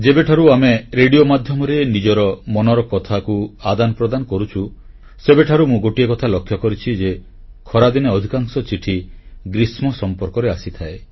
ଯେବେଠାରୁ ଆମେ ରେଡ଼ିଓ ମାଧ୍ୟମରେ ନିଜର ମନର କଥାକୁ ଆଦାନ ପ୍ରଦାନ କରୁଛୁ ସେବେଠାରୁ ମୁଁ ଗୋଟିଏ କଥା ଲକ୍ଷ୍ୟ କରିଛି ଯେ ଖରାଦିନେ ଅଧିକାଂଶ ଚିଠି ଗ୍ରୀଷ୍ମ ସମ୍ପର୍କରେ ଆସିଥାଏ